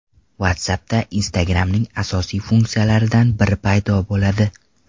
WhatsApp’da Instagram’ning asosiy funksiyalaridan biri paydo bo‘ladi.